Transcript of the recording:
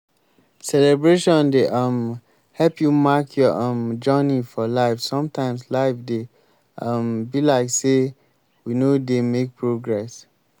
celebration dey um help you mark your um journey for life sometimes life dey um be like sey we no dey make progress